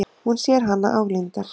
Hún sér hana álengdar.